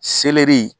Seleri